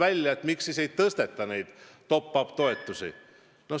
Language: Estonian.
Oli ju küsimus, miks ei suurendata top-up toetusi.